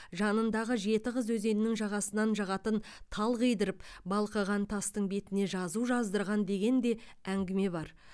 жанындағы жеті қыз өзенінің жағасынан жағатын тал қидырып балқыған тастың бетіне жазу жаздырған деген де әңгіме бар